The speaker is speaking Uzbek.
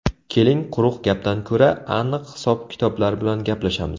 Keling, quruq gapdan ko‘ra, aniq hisob-kitoblar bilan gaplashamiz.